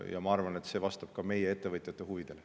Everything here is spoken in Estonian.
Ja ma arvan, et see vastab ka meie ettevõtjate huvidele.